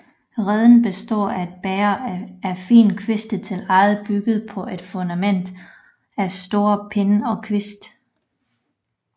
Reden består af et bæger af fine kviste til ægget bygget på et fundament af større pinde og kviste